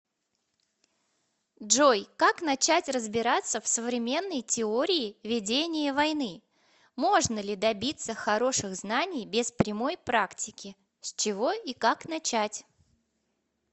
джой как начать разбираться в современной теории ведение войны можно ли добиться хороших знаний без прямой практики с чего и как начать